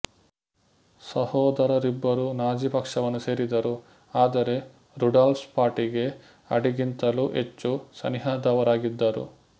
ಸಹೋದರರಿಬ್ಬರೂ Nazi ಪಕ್ಷವನ್ನು ಸೇರಿದರು ಆದರೆ ರುಡಾಲ್ಫ್ ಪಾರ್ಟಿಗೆ ಅಡೀಗಿಂತಲೂ ಹೆಚ್ಚು ಸನಿಹದವರಾಗಿದ್ದರು